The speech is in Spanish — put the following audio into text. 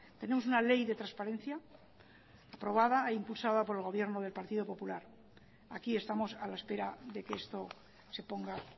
tenemos una ley de transparencia aprobada e impulsada por el gobierno del partido popular aquí estamos a la espera de que esto se ponga